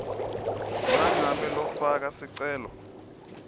nangabe lofaka sicelo